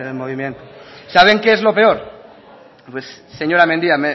saben qué es lo peor pues señora mendia